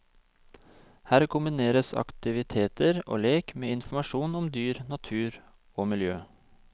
Her kombineres aktiviteter og lek med informasjon om dyr, natur og miljø.